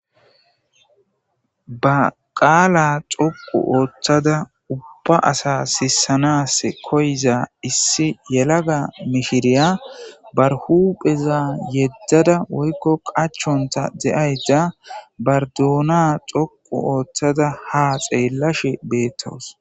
Ba qaala xoqu ooththada ubba asa sisanas koyiza issi yelaga mishiriya bar hupheza yeddada woykko qachonta de7ayta bar dona xoqu ooththada ha xeellashe beettawus.